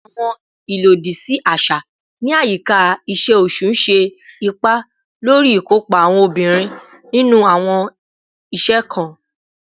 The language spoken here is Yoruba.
Awọn ilodisi aṣa ni ayika iṣe oṣu ṣe ipa lori ikopa awọn obinrin ninu awọn iṣẹ kan